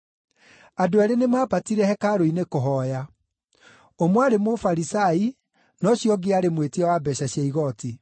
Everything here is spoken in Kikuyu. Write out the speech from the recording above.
“Andũ eerĩ nĩmambatire hekarũ-inĩ kũhooya. Ũmwe aarĩ Mũfarisai na ũcio ũngĩ aarĩ mwĩtia wa mbeeca cia igooti.